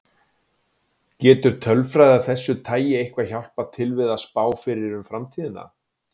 Getur tölfræði af þessu tagi eitthvað hjálpað til við að spá fyrir um framtíðina?